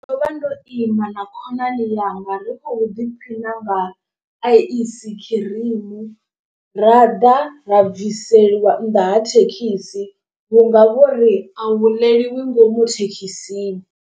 Ndo vha ndo ima na khonani yanga ri khou ḓiphina nga ice cream. Ra ḓa ra bviselwa nnḓa ha thekhisi vhunga vhori a hu ḽeliwi ngomu thekhisini.